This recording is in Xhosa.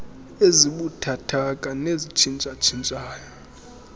ezibuthathaka nezitshintsha tshintshayo